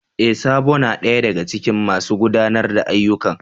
E! Sabo na daya daga cikin masu gudanar da ayyukan.